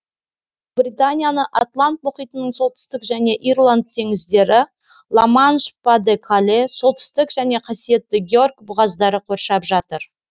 ұлыбританияны атлант мұхитының солтүстік және ирланд теңіздері ла манш па де кале солтүстік және қасиетті георг бұғаздары қоршап жатыр